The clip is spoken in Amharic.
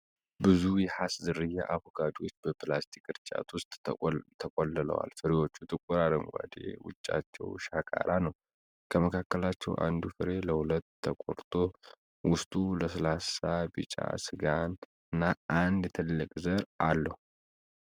ብዙ የሃስ ዝርያ አቮካዶዎች በፕላስቲክ ቅርጫት ውስጥ ተቆልለዋል። ፍሬዎቹ ጥቁር አረንጓዴ፣ ውጫቸው ሻካራ ነው። ከመካከላቸው አንዱ ፍሬ ለሁለት ተቆርጦ፣ ውስጡ ለስላሳ ቢጫ ሥጋና አንድ ትልቅ ዘር አለው።